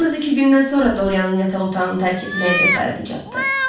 Yalnız iki gündən sonra Dorianın yataq otağını tərk etməyə cəsarəti çatdı.